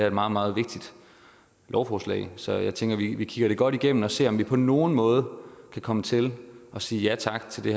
et meget meget vigtigt lovforslag så jeg tænker at vi kigger det godt igennem og ser om vi på nogen måde kan komme til at sige ja tak til det